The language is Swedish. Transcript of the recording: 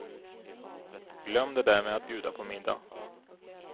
Glöm det där med att bjuda på middag.